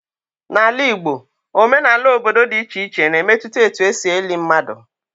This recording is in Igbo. Na Ala Igbo, omenala obodo dị iche iche na-emetụta etu e si eli mmadụ.